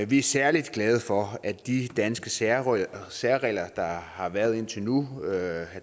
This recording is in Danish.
vi er særligt glade for at de danske særregler særregler der har været indtil nu her